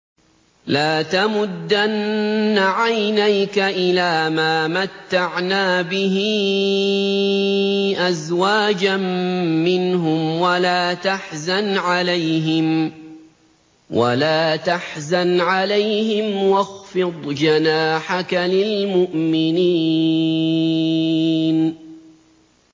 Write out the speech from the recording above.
لَا تَمُدَّنَّ عَيْنَيْكَ إِلَىٰ مَا مَتَّعْنَا بِهِ أَزْوَاجًا مِّنْهُمْ وَلَا تَحْزَنْ عَلَيْهِمْ وَاخْفِضْ جَنَاحَكَ لِلْمُؤْمِنِينَ